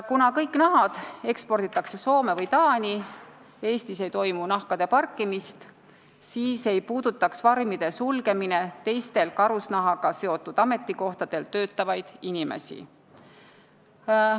Kuna kõik nahad eksporditakse Soome või Taani, Eestis nahkade parkimist ei toimu, siis ei puudutaks farmide sulgemine teistel karusnahaga seotud ametikohtadel töötavaid inimesi.